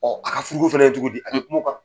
ka fana ye cogo di kan .